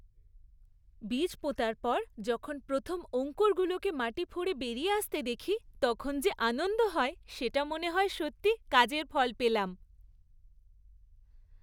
বীজ পোঁতার পর যখন প্রথম অঙ্কুরগুলোকে মাটি ফুঁড়ে বেরিয়ে আসতে দেখি তখন যে আনন্দটা হয় সেটাতে মনে হয় সত্যিই কাজের ফল পেলাম।